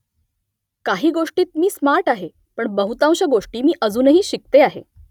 काही गोष्टींत मी स्मार्ट आहे . पण बहुतांश गोष्टी मी अजूनही शिकते आहे